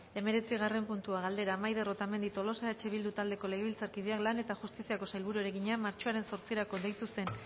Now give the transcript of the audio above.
hemeretzigarren puntua galdera maider otamendi tolosa eh bildu taldeko legebiltzarkideak lan eta justiziako sailburuari egina martxoaren zortzirako deitu zen